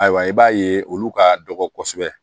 Ayiwa i b'a ye olu ka dɔgɔ kosɛbɛ